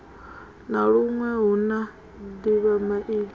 na luṅwe hu na ḓivhamaipfi